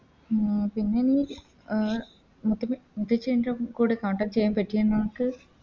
ആ പിന്നെ നീ അഹ് മൂത്ത മുത്തച്ചിൻറെ കൂടെ Contact ചെയ്യാൻ പറ്റിയോ നിനക്ക്